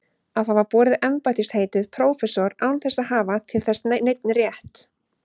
Að hafa borið embættisheitið prófessor án þess að hafa til þess neinn rétt.